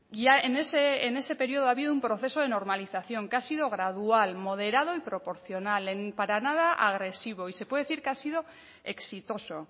ya en ese periodo ha habido un proceso de normalización que ha sido gradual moderado y proporcional para nada agresivo y se puede decir que ha sido exitoso